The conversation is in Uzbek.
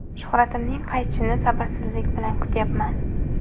Shuhratimning qaytishini sabrsizlik bilan kutyapman.